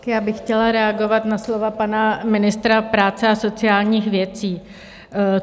Já bych chtěla reagovat na slova pana ministra práce a sociálních věcí.